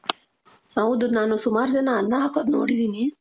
ಹೌದು, ನಾನು ಸುಮಾರ್ ಜನ ಅನ್ನ ಹಾಕೋದ್ ನೋಡಿದೀನಿ,